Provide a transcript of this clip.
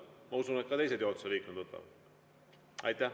Ma usun, et ka teised juhatuse liikmed võtavad.